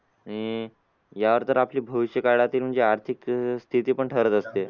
आणि यावर तर आपली भविष्यकाळातील म्हणजे आर्थिक स्थिती पण ठरत असते.